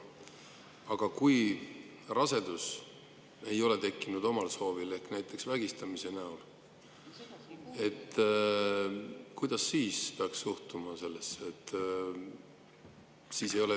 Aga kui rasedus ei ole tekkinud omal soovil, vaid näiteks vägistamise tagajärjel, kuidas siis peaks sellesse suhtuma?